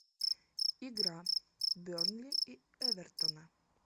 игра бернли и эвертона